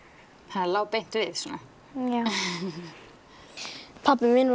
það lá beint við já pabbi minn